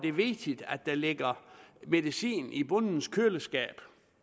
er vigtigt at der ligger medicin i bondens køleskab